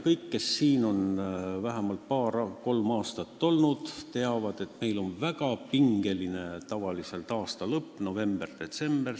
Kõik, kes siin on vähemalt paar-kolm aastat olnud, teavad, et tavaliselt on meil väga pingeline aasta lõpp, november ja detsember.